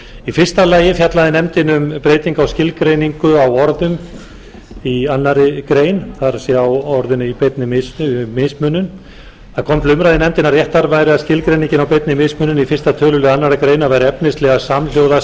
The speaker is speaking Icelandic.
í fyrsta lagi fjallaði nefndin um breytingu á skilgreiningu á orðum í annarri grein það er á orðinu í beinni mismunun það kom til umræðu í nefndinni að réttast væri að skilgreining á beinni mismunun í fyrsta tölulið annarri grein væri efnislega samhljóða